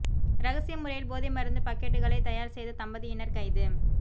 இரகசிய முறையில் போதை மருந்து பக்கெட்டுகளை தயார் செய்த தம்பதியினர் கைது